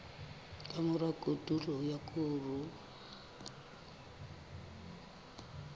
ka mora kotulo ya koro